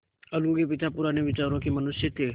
अलगू के पिता पुराने विचारों के मनुष्य थे